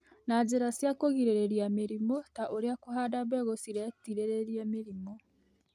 na njĩra cia kũgirĩrĩria mĩrimũ ta ũrĩa kũhanda mbegũ ciretirĩrĩria mĩrimũ.